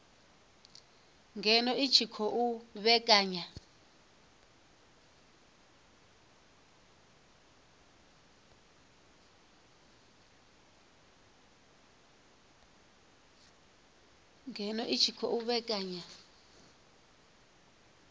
ngeno i tshi khou vhekanya